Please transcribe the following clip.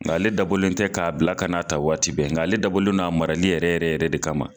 Nka ale dabɔlen tɛ k'a bila ka n'a' ta waati bɛn, nka ale dabɔlen don a marali yɛrɛ yɛrɛ yɛrɛ de kama.